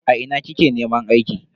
A ina kike neman aiki?